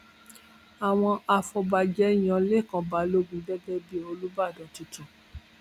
àwọn afọbàjẹ yan lẹkàn balógun gẹgẹ bíi olùbàdàn tuntun